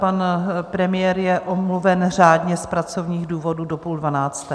Pan premiér je omluven řádně z pracovních důvodů do půl dvanácté.